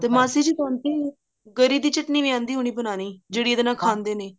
ਤੇ ਮਾਸੀ ਜੀ ਦੀ ਚਟਨੀ ਵੀ ਆਉਂਦੀ ਹੋਣੀ ਬਣਾਉਣੀ ਜਿਹੜੀ ਇਹਦੇ ਨਾਲ ਖਾਂਦੇ ਨੇ